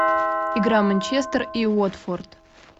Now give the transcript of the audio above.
игра манчестер и уотфорд